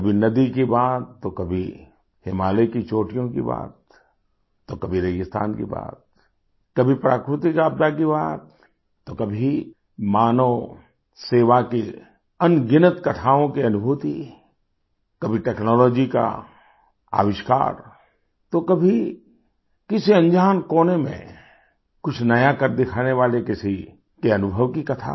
कभी नदी की बात तो कभी हिमालय की चोटियों की बात तो कभी रेगिस्तान की बात कभी प्राकृतिक आपदा की बात तो कभी मानवसेवा की अनगिनत कथाओं की अनुभूति कभी टेक्नोलॉजी का आविष्कार तो कभी किसी अनजान कोने में कुछ नया कर दिखाने वाले किसी के अनुभव की कथा